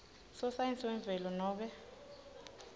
sosayensi yemvelo nobe